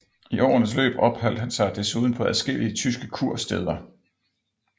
I årenes løb opholdt han sig desuden på adskillige tyske kursteder